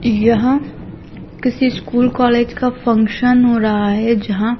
यह किसी school college का फंक्शन हो रहा है जहा--